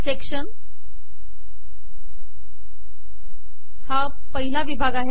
section हा पहिला विभाग आहे